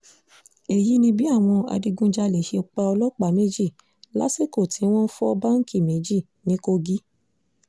èyí ni bí àwọn adigunjalè ṣe pa ọlọ́pàá méjì lásìkò tí wọ́n fọ báǹkì méjì ní kogi